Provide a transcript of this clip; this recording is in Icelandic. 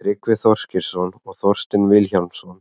tryggvi þorgeirsson og þorsteinn vilhjálmsson